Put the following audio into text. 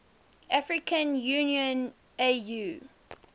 african union au